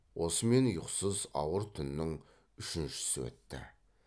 осымен ұйқысыз ауыр түннің үшіншісі өтті